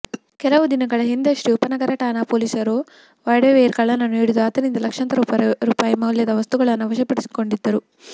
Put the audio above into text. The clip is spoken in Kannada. ಕೆಲವು ದಿನಗಳ ಹಿಂದಷ್ಟೇ ಉಪನಗರ ಠಾಣೆ ಪೊಲೀಸರು ವಾರ್ಡವೇರ್ ಕಳ್ಳನನ್ನ ಹಿಡಿದು ಆತನಿಂದ ಲಕ್ಷಾಂತರ ರೂಪಾಯಿ ಮೌಲ್ಯದ ವಸ್ತುಗಳನ್ನ ವಶಪಡಿಸಿಕೊಂಡಿದ್ದರು